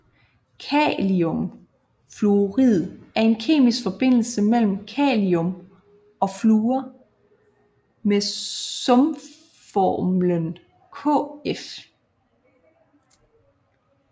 Kalimfluorid er en kemisk forbindelse mellem kalium og fluor med sumformlen KF